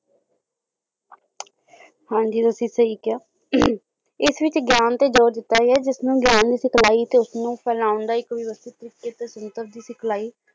ਹਾਂਜੀ ਤੁਸੀ ਸਹੀ ਕਿਹਾ ਅਹੰ ਇਸ ਵਿੱਚ ਗਿਆਨ ਤੇ ਜ਼ੋਰ ਦਿੱਤਾ ਗਿਆ ਜਿਸਨੂੰ ਗਿਆਨ ਦੀ ਸਿਖਲਾਈ ਤੇ ਉਸਨੂੰ ਫੈਲਾਉਣ ਦਾ ਇੱਕ ਵਿਵਸਥਿਤ ਸੰਸਥਾ ਦੀ ਸਿਖਲਾਈ